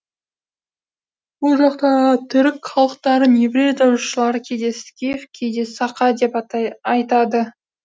бұл жақтағы түрік халықтарын еврей жазушылары кейде скиф кейде сақа деп айтады